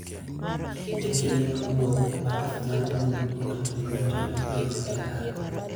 E kinde mag wuoth, baraf nyalo mono mtokni matindo ringo e ndara.